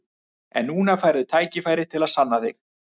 En núna færðu tækifæri til að sanna þig.